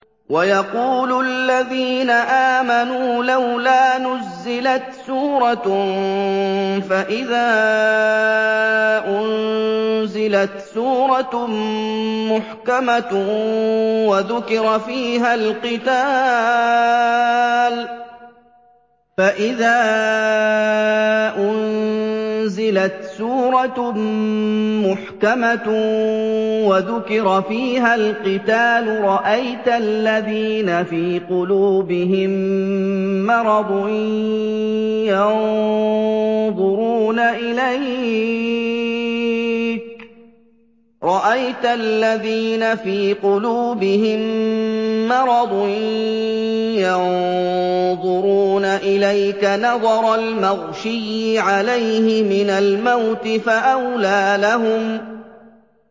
وَيَقُولُ الَّذِينَ آمَنُوا لَوْلَا نُزِّلَتْ سُورَةٌ ۖ فَإِذَا أُنزِلَتْ سُورَةٌ مُّحْكَمَةٌ وَذُكِرَ فِيهَا الْقِتَالُ ۙ رَأَيْتَ الَّذِينَ فِي قُلُوبِهِم مَّرَضٌ يَنظُرُونَ إِلَيْكَ نَظَرَ الْمَغْشِيِّ عَلَيْهِ مِنَ الْمَوْتِ ۖ فَأَوْلَىٰ لَهُمْ